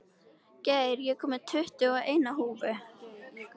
Geir, ég kom með tuttugu og eina húfur!